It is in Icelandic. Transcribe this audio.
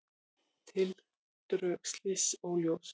Tildrög slyss óljós